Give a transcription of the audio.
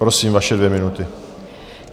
Prosím, vaše dvě minuty.